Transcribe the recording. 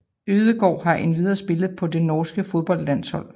Ødegaard har endvidere spillet på det norske fodboldlandshold